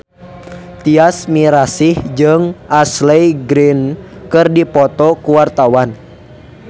Tyas Mirasih jeung Ashley Greene keur dipoto ku wartawan